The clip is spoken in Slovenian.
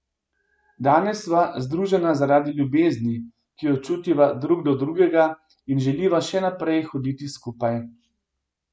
Danes sva združena zaradi ljubezni, ki jo čutiva drug do drugega, in želiva še naprej hoditi skupaj.